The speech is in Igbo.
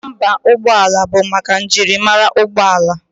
Nọmba ụgbọala bụ maka njirimara ụgbọala